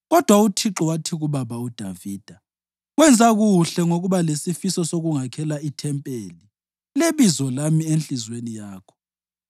Kodwa uThixo wathi kubaba uDavida, ‘Wenza kuhle ngokuba lesifiso sokungakhela ithempeli leBizo lami enhliziyweni yakho.